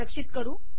रक्षित करू